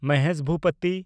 Mahesh Bhupathi